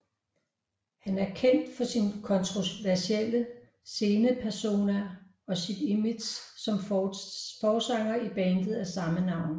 Han er kendt for sin kontroversielle scenepersona og sit image som forsanger i bandet af samme navn